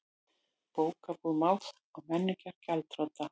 Bókabúð Máls og menningar gjaldþrota